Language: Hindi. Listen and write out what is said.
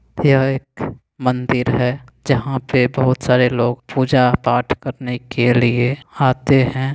यहाँ एक मंदिर है जहां पे बोहत सारे लोग पूजा पाट करने के लिए आते है।